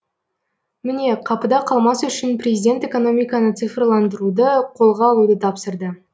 міне қапыда қалмас үшін президент экономиканы цифрландыруды қолға алуды тапсырды